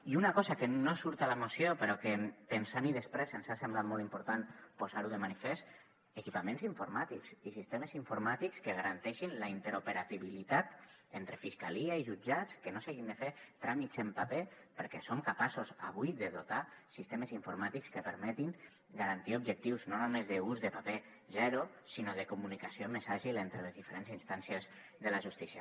i una cosa que no surt a la moció però que pensant hi després ens ha semblat molt important posar ho de manifest equipaments informàtics i sistemes informàtics que garanteixin la interoperabilitat entre fiscalia i jutjats que no s’hagin de fer tràmits en paper perquè som capaços avui de dotar sistemes informàtics que permetin garantir objectius no només d’ús de paper zero sinó de comunicació més àgil entre les diferents instàncies de la justícia